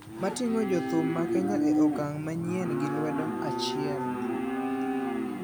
ma tingo jo thum ma Kenya e okang manyien gi lwedo achiel